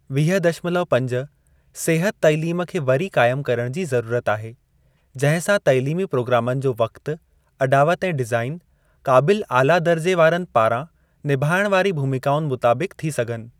वीह दशमलव पंज, सिहत तालीम खे वरी काइमु करण जी ज़रूरत आहे, जंहिं सां तालीमी प्रोग्रामनि जो वक्तु, अॾावत ऐं डिज़ाईन, क़ाबिल आला दर्जे वारनि पारां निभाइण वारी भूमिकाउनि मुताबिकु थी सघनि।